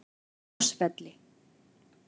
Ásvelli